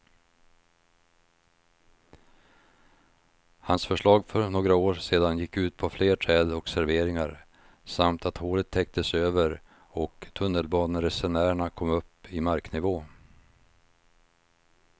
Hans förslag för några år sedan gick ut på fler träd och serveringar samt att hålet täcktes över och tunnelbaneresenärerna kom upp i marknivå.